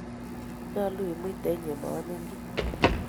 Nyaalu imuiten inye maamin kiy.